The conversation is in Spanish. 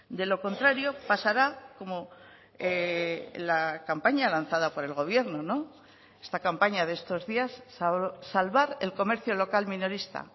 de lo contrario pasará como la campaña lanzada por el gobierno esta campaña de estos días salvar el comercio local minorista